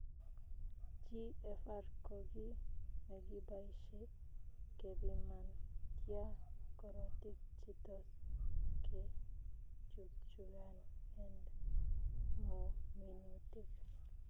Gfr koo kii negibaishe kepiman tyaa korotik che toss ke chukchukan end minutit